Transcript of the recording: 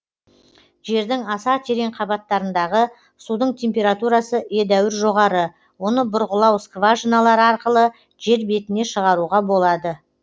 жердің аса терең қабаттарындағы судың температурасы едәуір жоғары оны бұрғылау скважиналары арқылы жер бетіне шығаруға болады